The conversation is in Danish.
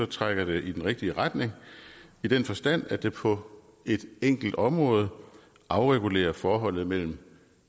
trækker det i den rigtige retning i den forstand at det på et enkelt område afregulerer forholdet mellem